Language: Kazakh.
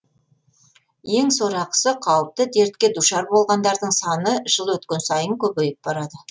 ең сорақысы қауіпті дертке душар болғандардың саны жыл өткен сайын көбейіп барады